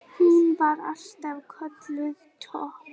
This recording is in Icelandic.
Hún var alltaf kölluð Tobba.